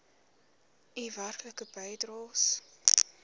u werklike bydraes